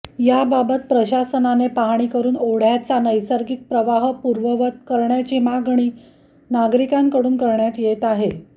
याबाबत प्रशासनाने पाहणी करून ओढ्याचा नैसर्गिक प्रवाह पूर्ववत करण्याची मागणी नागरिकांकडून करण्यात येत आहे